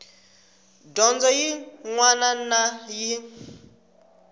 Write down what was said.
dyondzo yin wana na yin